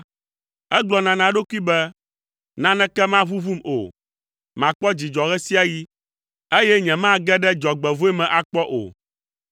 Egblɔna na eɖokui be, “Naneke maʋuʋum o, makpɔ dzidzɔ ɣe sia ɣi, eye nyemage ɖe dzɔgbevɔ̃e me akpɔ o.”